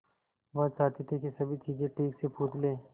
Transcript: वह चाहती थी कि सभी चीजें ठीक से पूछ ले